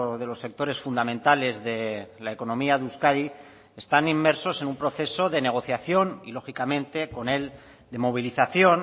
de los sectores fundamentales de la economía de euskadi están inmersos en un proceso de negociación y lógicamente con él de movilización